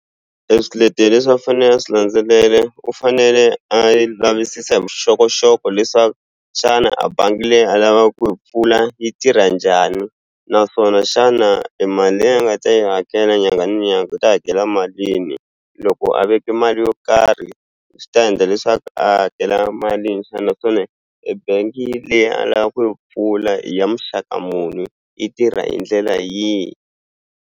E swiletelo leswi a fanele a swi landzelele u fanele a yi lavisisa vuxokoxoko leswaku xana a bangi leyi a lava ku yi mpfula yi tirha njhani naswona xana e mali leyi a nga ta yi hakela nyangha ni nyanga u ta hakela mali yini loko a veke mali yo karhi swi ta endla leswaku a hakela malini e bank-i leyi a lava ku yi pfula i ya muxaka muni i tirha hi ndlela yihi.